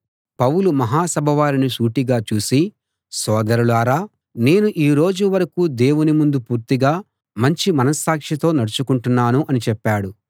పౌలు మహా సభవారిని సూటిగా చూసి సోదరులారా నేను ఈ రోజు వరకూ దేవుని ముందు పూర్తిగా మంచి మనస్సాక్షితో నడచుకుంటున్నాను అని చెప్పాడు